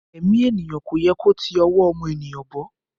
Ẹ̀mí ènìyàn kò yẹ kó ti ọwọ́ ọmọ ènìyàn bọ́